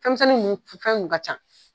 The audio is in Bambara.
Fɛnmisɛnnin ninnu fɛn ka ca.